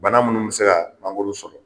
Bana minnu bɛ se ka mangoro sɔrɔ,